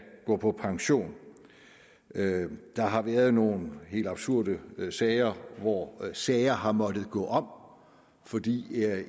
gå på pension der har været nogle helt absurde sager hvor sager har måttet gå om fordi